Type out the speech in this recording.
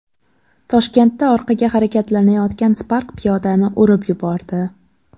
Toshkentda orqaga harakatlanayotgan Spark piyodani urib yubordi .